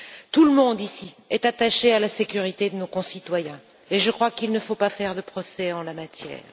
Tout le monde, ici, est attaché à la sécurité de nos concitoyens, et je crois qu'il ne faut pas faire de procès en la matière.